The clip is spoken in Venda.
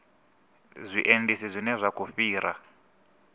zwiendisi zwine zwa khou fhira